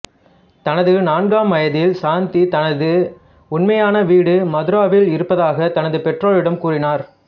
தனது நான்காம் வயதில் சாந்தி தனது உண்மையான வீடு மதுராவில் இருப்பதாகத் தனது பெற்றோரிடம் கூறினார்